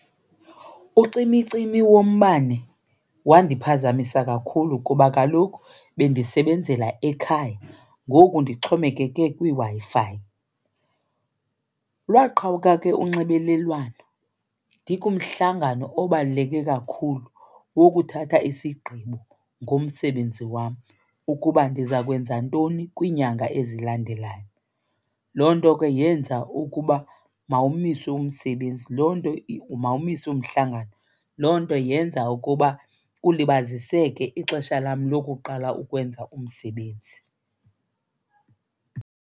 Ucimicimi wombane wandiphazamisa kakhulu kuba kaloku bendisebenzela ekhaya ngoku ndixhomekeka kwiWi-Fi. Lwaqhawuka ke unxibelelwano ndikumhlangano obaluleke kakhulu wokuthatha isigqibo ngomsebenzi wam ukuba ndiza kwenza ntoni kwiinyanga ezilandelayo. Loo nto ke yenza ukuba mawumiswe umsebenzi, loo nto , mawumiswe umhlangano. Loo nto yenza ukuba kulibaziseke ixesha lam lokuqala ukwenza umsebenzi.